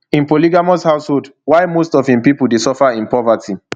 im polygamous household while most of im pipo dey suffer in poverty